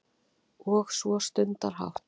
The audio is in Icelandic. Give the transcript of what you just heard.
Og svo stundarhátt